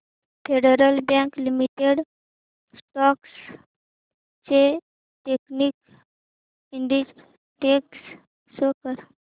federal bank limited stocks चे technical indicators show कर